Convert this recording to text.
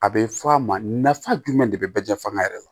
A bɛ fɔ a ma nafa jumɛn de bɛ bɛɛ jɛ fanga yɛrɛ la